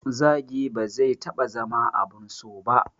Zagi ba zai taɓa zama abun so ba